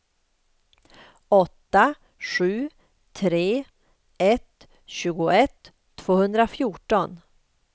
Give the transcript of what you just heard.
åtta sju tre ett tjugoett tvåhundrafjorton